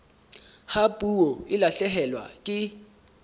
ha puo e lahlehelwa ke